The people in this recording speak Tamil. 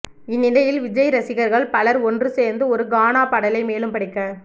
இந்நிலையில் விஜய் ரசிகர்கள் பலர் ஒன்று சேர்ந்து ஒரு கானா பாடலை மேலும் படிக்க